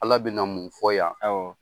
Ala bɛ na mun fɔ yan